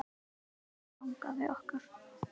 Elsku langafi okkar.